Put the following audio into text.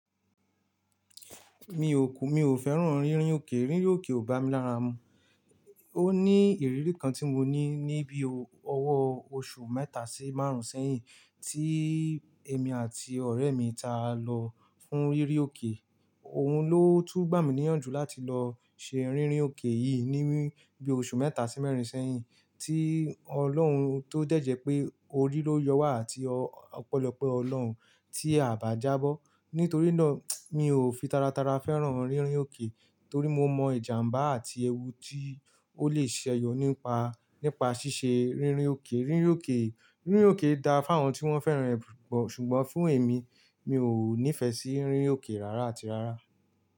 Mi ò kù, mi ò fẹ́ràn rírin òkè, rírin òkè ò bá mi lára mu. Ó ní ìrírí kan tí mo ní níbi ọwọ́ oṣù mẹ́ta sí márùn-ún sẹ́yìn tí èmi àti ọ̀rẹ́ mi ta lọ fún rírin òkè. Òhun ló tú gbà mí níyànjú láti lọ ṣe rírin òkè yìí níbi oṣù mẹ́ta sí mẹ́rin sẹ́yìn tí ọlọ́hun tó dẹ́ jẹ́ pé orí ló yọwà àti ọ̀pọ̀lọpọ̀ ọlọ́hun tí a bá jábọ́. Nítorí náà, mi ò fi tara tara fẹ́ràn rírin òkè torí mo mọ ìjàmbá àti ẹwu tí ó lè sẹyọ nípa, nípa ṣíṣe rírin òkè. Rírin òkè, rírin òkè da fún àwọn tí wọ́n fẹ́ràn rẹ̀ pùpọ̀. Ṣùgbọ́n fún èmi, mi ò nífẹ̀ẹ́ sí rírin òkè rárá àti rárá.